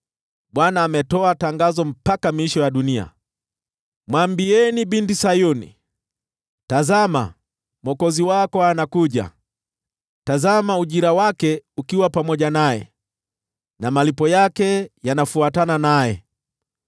Bwana ametoa tangazo mpaka miisho ya dunia: “Mwambie Binti Sayuni, ‘Tazama, mwokozi wako anakuja! Tazama ujira wake uko pamoja naye, na malipo yake yanafuatana naye!’ ”